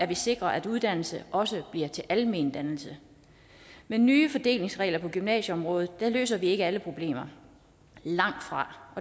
vi sikrer at uddannelse også bliver til almendannelse med nye fordelingsregler på gymnasieområdet løser vi ikke alle problemer langtfra